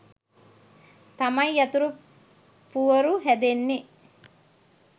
තමයි යතුරු පුවරු හැදෙන්නෙ.